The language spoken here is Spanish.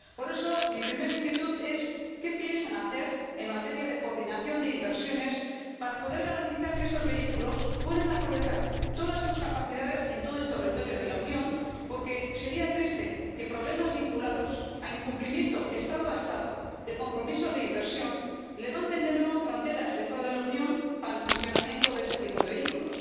Por eso, mi primera inquietud es qué piensan hacer en materia de coordinación de inversiones para poder garantizar que estos vehículos puedan aprovechar todas sus capacidades en todo el territorio de la Unión, porque sería triste que problemas vinculados al incumplimiento Estado a Estado de compromisos de inversión levanten de nuevo fronteras dentro de la Unión para el funcionamiento de este tipo de vehículos.